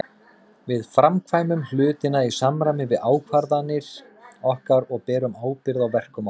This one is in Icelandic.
Við framkvæmum hlutina í samræmi við ákvarðanir okkar og berum ábyrgð á verkum okkar.